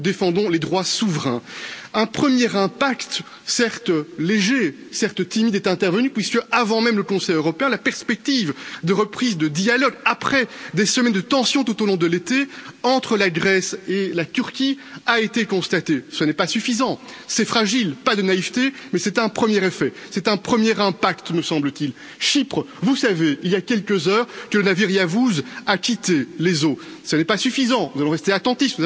Nous défendons les droits souverains. Un premier impact, certes léger, certes timide, est intervenu puisque avant même le Conseil européen, s'est ouverte la perspective d'une reprise du dialogue, après des semaines de tension tout au long de l'été, entre la Grèce et la Turquie. Ce n'est pas suffisant, c'est fragile, pas de naïveté, mais c'est un premier effet, c'est un premier impact, me semble t il. À Chypre, il y a quelques heures, le navire Yavuz a quitté les eaux. Ce n'est pas suffisant, nous allons rester